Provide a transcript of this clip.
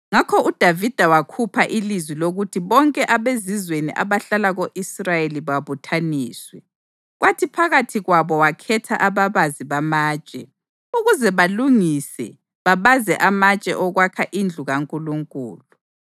Ngakho uDavida wakhupha ilizwi lokuthi bonke abezizweni abahlala ko-Israyeli babuthaniswe, kwathi phakathi kwabo wakhetha ababazi bamatshe ukuze balungise babaze amatshe okwakha indlu kaNkulunkulu.